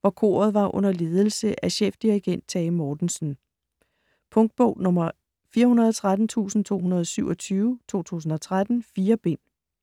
hvor koret var under ledelse af chefdirigent Tage Mortensen. Punktbog 413227 2013. 4 bind.